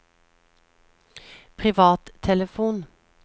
privattelefon